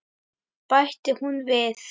bætti hún við.